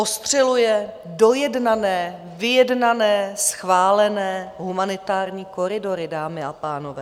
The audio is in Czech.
Ostřeluje dojednané, vyjednané, schválené humanitární koridory, dámy a pánové.